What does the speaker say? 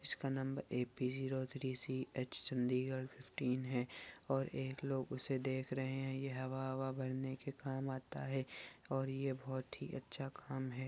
इसका नंबर A P zero three C H Chandigarh fifteen है और ये लोग इसे देख रहै है ये हवा हवा भरने के काम आता है और ये बहुत ही अच्छा काम है।